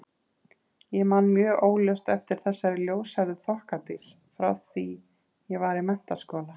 Ég man mjög óljóst eftir þessari ljóshærðu þokkadís frá því ég var í menntaskóla.